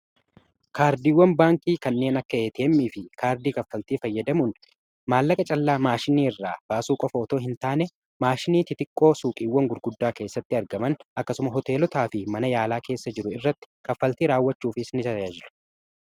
kaardiiwwan baankii kanneen akka ATM fi kaardii kaffaltii fayyadamuun maallaqa callaa maashinii irraa baasuu qofootoo hin taane maashinii xixiqqoo suuqiiwwan gurguddaa keessatti argaman akkasuma hoteelotaa fi mana yaalaa keessa jiru irratti kaffaltii raawwachuufis ta'aa jiru.